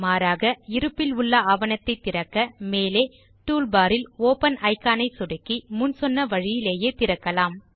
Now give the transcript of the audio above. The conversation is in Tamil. மாறாக இருப்பிலுள்ள ஆவணத்தை திறக்க மேலே டூல்பார் இல் ஒப்பன் இக்கான் ஐ சொடுக்கி முன் சொன்ன வழியிலேயே திறக்கலாம்